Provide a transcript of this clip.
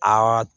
Aa